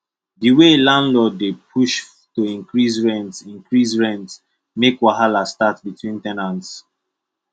the way landlord dey push to increase rent increase rent make wahala start between ten ants